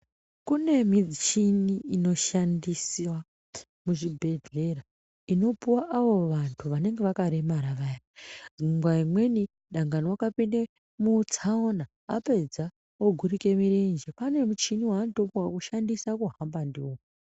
Kune michini inoshandisiwa muzvibhodhlera unopuwa avo vantu vanenge vakaremara vaya ngenguwa imweni dangani wakapinde mutsaona apedza ogurike mirenje , ane michini yaanotopuwa kishandise kuhamba ndiyo.